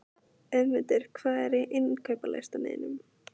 Auðmundur, hvað er á innkaupalistanum mínum?